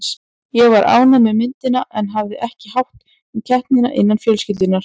Ég var ánægð með myndina en hafði ekki hátt um keppnina innan fjölskyldunnar.